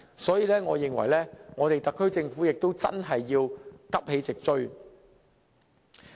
所以，我認為特區政府要急起直追。